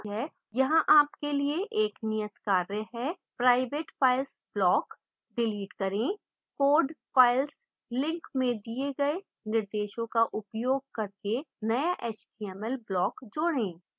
यहाँ आपके लिए एक नियतकार्य है: private files block डिलीट करें code files लिंक में दिए गए निर्देशों का उपयोग करके नया html block जोडें